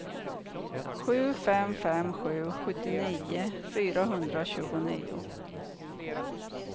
sju fem fem sju sjuttionio fyrahundratjugonio